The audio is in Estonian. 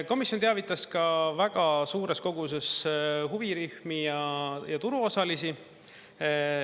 Komisjon teavitas ka väga suures koguses huvirühmi ja turuosalisi.